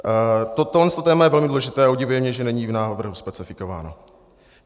Tohle téma je velmi důležité a udivuje mě, že není v návrhu specifikováno.